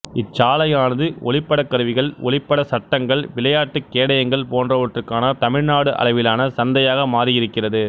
இச்சாலையானது ஒளிப்படக்கருவிகள் ஒளிப்பட சட்டங்கள் விளையாட்டுக் கேடயங்கள் போன்றவற்றுக்கான தமிழ்நாடு அளவிலான சந்தையாக மாறியிருக்கிறது